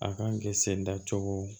A kan kɛ sen da cogo